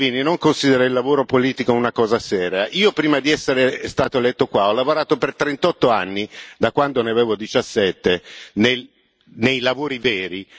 Salvini non considera il lavoro politico una cosa seria. Io, prima di essere eletto qui, ha lavorato per 38 anni, da quando ne avevo 17, nei lavori veri.